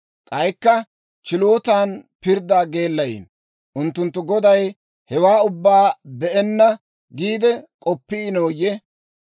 k'aykka chilootan pirddaa geellayiino. Unttunttu Goday hewaa ubbaa be'enna giide k'oppiinoyye?